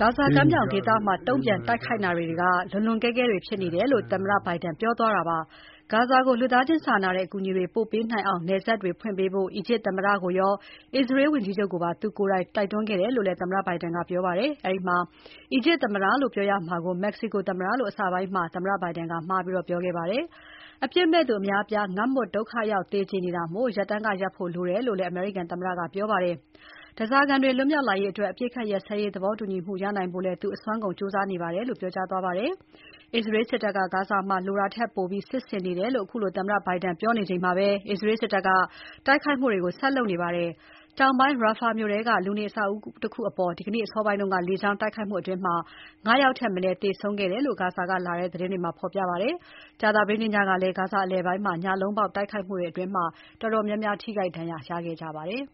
ဂါဇာကမ်းမြောင်ဒေသမှာ တုံ့ပြန်တိုက်ခိုက်နေတာတွေက လွန်လွန်ကဲကဲတွေဖြစ်နေတယ်လို့ သမ္မတ Biden ပြောသွားတာဖြစ်ပါတယ်။ ဂါဇာကို လူသားချင်းစာနာတဲ့ အကူအညီတွေပို့ပေးနိုင်အောင် နယ်စပ်တွေဖွင့်ပေးဖို့ အီဂျစ်သမ္မတကိုရော အစ္စရေး ဝန်ကြီးချုပ်ကိုပါ သူကိုယ်တိုင် တိုက်တွန်းခဲ့တယ်လို့လည်း သမ္မတ Biden ကပြောပါတယ်။ အဲဒီမှာ အီဂျစ်သမ္မတလို့ ပြောရမှာကို မက္ကဆီကိုသမ္မတလို့ အစပိုင်းမှာ သမ္မတက မှားပြောခဲ့ပါတယ်။ အပြစ်မဲ့သူအများအပြား ငတ်မွတ် ဒုက္ခရောက် သေကြေနေတာမို့ ရပ်တန်းကရပ်ဖို့ လိုအပ်တယ်လို့ အမေရိကန်သမ္မတက ပြောပါတယ်။ ဓါးစာခံတွေ လွတ်မြောက်လာရေးအတွက် အပစ်အခတ်ရပ်စဲရေး သဘောတူညီမှုရနိုင်ဖို့လည်း သူအစွမ်းကုန်ကြိုးစားနေပါတယ်လို့ ပြောကြားသွားပါတယ်။ အစ္စရေးစစ်တပ်က ဂါဇာမှာ လိုတာထက်ပိုပြီး စစ်ဆင်နေတယ်လို့ အခုလို သမ္မတ Biden ကပြောနေချိန်မှာပဲ အစ္စရေးစစ်တပ်က တိုက်ခိုက်မှုတွေကို ဆက်လုပ်နေပါတယ်။ တောင်ပိုင်း Rafah မြို့ထဲက လူနေအဆောက်အဦးတခုအပေါ် ဒီနေ့အစောပိုင်းက လေကြောင်းတိုက်ခိုက်မှုအတွင်း ၅ ယောက်ထက်မနည်းသေဆုံးတယ်လို့ ဂါဇာကလာတဲ့သတင်းတွေမှာ ဖော်ပြပါတယ်။ ကြာသပတေးနေ့ညကလည်း ဂါဇာအလယ်ပိုင်းမှာ ညလုံးပေါက်တိုက်ခိုက်မှုအတွင်း တော်တော်များများ ထိခိုက်ဒဏ်ရာရခဲ့ကြပါတယ်။